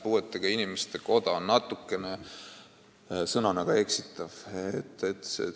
"Puuetega inimeste koda" on väljendina natuke eksitav.